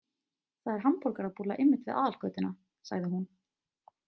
Það er hamborgarabúlla einmitt við aðalgötuna, sagði hún.